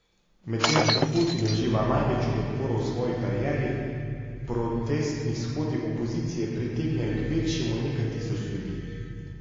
Medtem ko Putin uživa največjo podporo v svoji karieri, protestni shodi opozicije pritegnejo kvečjemu nekaj tisoč ljudi.